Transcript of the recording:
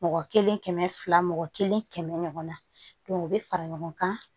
Mɔgɔ kelen kɛmɛ fila mɔgɔ kelen kɛmɛ ɲɔgɔn na o bɛ fara ɲɔgɔn kan